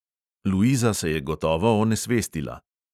Luiza se je gotovo onesvestila.